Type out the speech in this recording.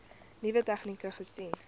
nuwe tegnieke gesien